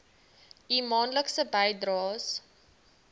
u maandelikse bydraes